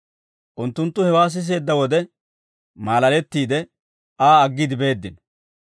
Unttunttu hewaa siseedda wode, maalalettiide Aa aggiide beeddino.